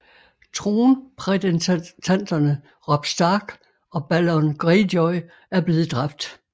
Tronprædentanterne Robb Stark og Balon Greyjoy er blevet dræbt